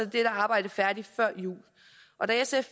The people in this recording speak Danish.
dette arbejde færdigt før jul da sf